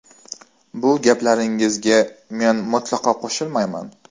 Bu gaplaringizga men mutlaqo qo‘shilmayman.